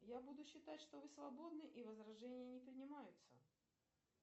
я буду считать что вы свободны и возражения не принимаются